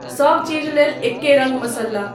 सब चीज लेल एक्के रङ्ग मसल्ला।